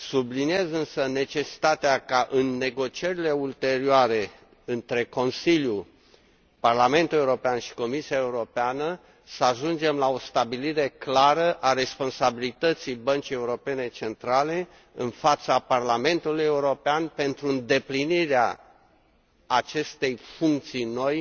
Subliniez însă necesitatea ca, în negocierile ulterioare între Consiliu, Parlamentul European și Comisia Europeană, să ajungem la o stabilire clară a responsabilității Băncii Centrale Europene în fața Parlamentului European pentru îndeplinirea acestei funcții noi